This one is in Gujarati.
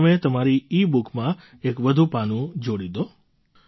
હવે તમે તમારી ઇબુકમાં એક વધુ પાનું જોડી દો